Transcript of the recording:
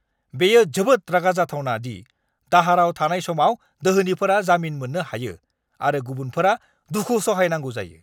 बेयो जोबोद रागा जाथावना दि दाहाराव थानाय समाव दोहोनिफोरा जामिन मोननो हायो आरो गुबुनफोरा दुखु सहायनांगौ जायो।